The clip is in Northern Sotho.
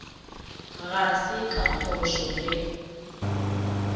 ga se ka phošo ge